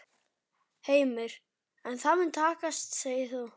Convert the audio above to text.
Heimir: En það mun takast segir þú?